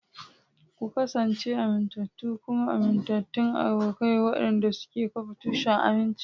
Ku kasance amintattu kuma amintattun abokai waɗanda suke kafa tushen aminci.